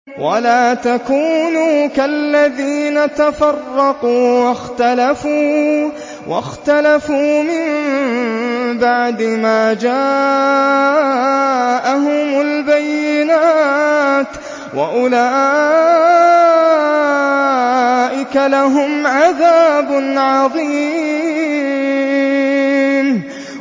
وَلَا تَكُونُوا كَالَّذِينَ تَفَرَّقُوا وَاخْتَلَفُوا مِن بَعْدِ مَا جَاءَهُمُ الْبَيِّنَاتُ ۚ وَأُولَٰئِكَ لَهُمْ عَذَابٌ عَظِيمٌ